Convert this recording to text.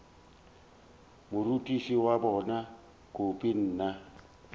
morutiši wa bona kobi mna